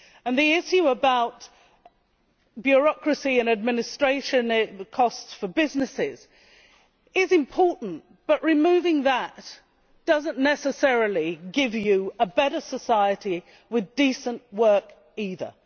The issue of bureaucracy and administration costs for businesses is important, but removing that does not necessarily give you a better society with decent work either.